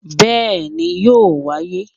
Béèni yóò wáyé